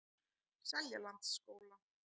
Seljalandsskóla